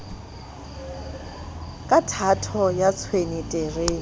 ka thato ya tshwene terene